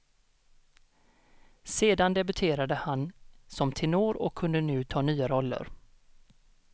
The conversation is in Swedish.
Sedan debuterade han som tenor och kunde nu ta nya roller.